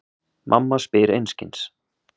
Mamma spyr einskis.